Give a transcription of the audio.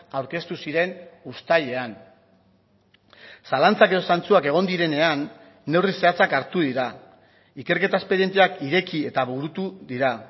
aurkeztu ziren uztailean zalantzak edo zantzuak egon direnean neurri zehatzak hartu dira ikerketa esperientziak ireki eta burutu dira